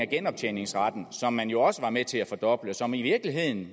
genoptjeningsret som man jo også var med til at fordoble og som i virkeligheden